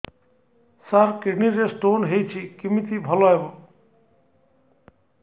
ସାର kidney ରେ stone ହେଇଛି କମିତି ଭଲ ହେବ